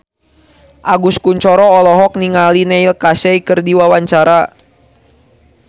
Agus Kuncoro olohok ningali Neil Casey keur diwawancara